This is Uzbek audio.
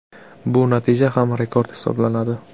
Bu natija ham rekord hisoblanadi .